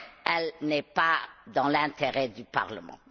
Elle n'est pas dans l'intérêt du Parlement.